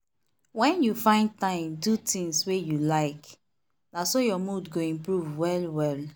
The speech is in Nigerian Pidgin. when you find time do tings wey you like na so your mood go improve well well.